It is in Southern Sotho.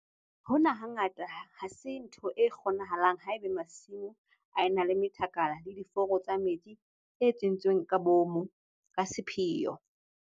Hona hangata ha se ntho e kgonahalang haeba masimo a ena le methakala le diforo tsa metsi tse entsweng ka boomo ka sepheo.